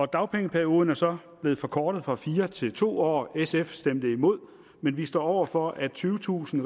dagpengeperioden er så blevet forkortet fra fire til to år sf stemte imod men vi står over for at tyvetusind